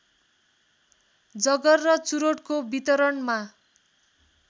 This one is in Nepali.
जगर र चुरोटको वितरणमा